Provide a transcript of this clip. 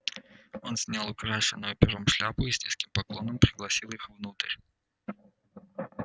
он снял украшенную пером шляпу и с низким поклоном пригласил их внутрь